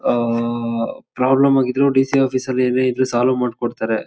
ಆಹ್ಹ್ problem ಆಗಿದ್ರು D C office ಎಲ್ಲಾ solve ಮಾಡ್ಕೊಡ್ತಾರೆ.